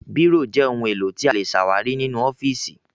Bírò jẹ́ ohun-èlò tí a lè ṣàwárí nínú ọ́fíísì.